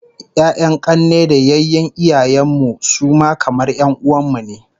Ya'yan 'kanne da yayyen iyayen mu su ma kamar 'yan'uwan mu ne